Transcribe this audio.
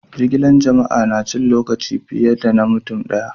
Jigilan jama'a na cin lokaci fiye da na mutum daya.